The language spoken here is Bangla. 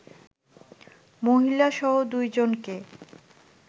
মহিলাসহ দুইজনকে